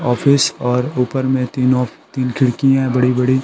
Office और ऊपर में तीनों खिड़कियाँ है बड़ी-बड़ी।